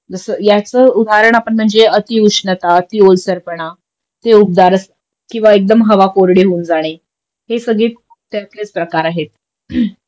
जस याच उदाहरण म्हणजे अतिउष्णता अतिओलसरपणा ते उबदार असं किंवा हवा एकदम कोरडी होऊन जाणे हे सगळे त्यातलेच प्रकार आहेत